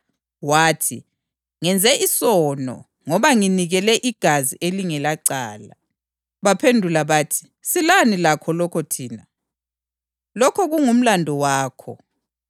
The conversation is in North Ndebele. Wathi, “Ngenze isono, ngoba nginikele igazi elingelacala.” Baphendula bathi, “silani lalokho thina? Lokho kungumlandu wakho.”